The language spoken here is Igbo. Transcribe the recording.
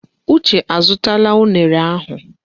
Uche azụtala unere ahụ.